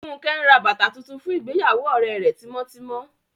Funke n rá bátà tuntun fún ìgbèyàwó òrẹ rẹ̀ tímọtímọ